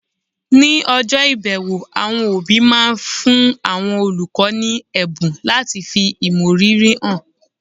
ní ọjọ́ ìbẹ̀wò, àwọn òbí máa ń fún àwọn olùkọ́ ní ẹ̀bùn láti fi ìmọrírì hàn